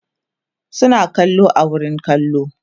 suna kallo a wurin kallo